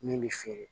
Min bɛ feere